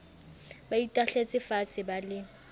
ba itahletse faatshe ba le